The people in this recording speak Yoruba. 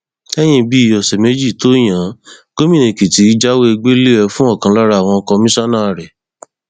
lẹyìn bíi ọsẹ méjì tó yan án gómìnà èkìtì jáwèégbẹlẹ ẹ fún ọkan lára àwọn kọmíṣánná rẹ